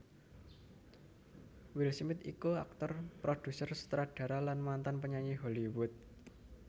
Will Smith iku aktor produser sutradara lan mantan penyanyi Hollywood